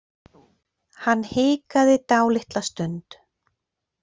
Hann hikaði dálitla stund.